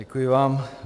Děkuji vám.